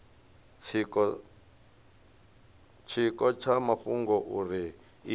tshiko tsha mafhungo uri izwi